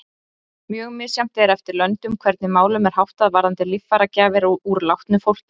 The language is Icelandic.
Mjög misjafnt er eftir löndum hvernig málum er háttað varðandi líffæragjafir úr látnu fólki.